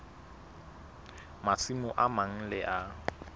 masimo a mang le a